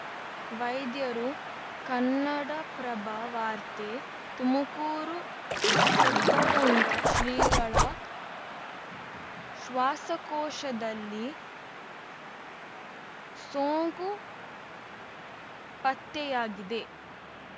ವೈದ್ಯರು ಕನ್ನಡಪ್ರಭ ವಾರ್ತೆ ತುಮುಕೂರು ಸಿದ್ಧಗಂಗಾ ಶ್ರೀಗಳ ಶ್ವಾಸಕೋಶದಲ್ಲಿ ಸೋಂಕು ಪತ್ತೆಯಾಗಿದೆ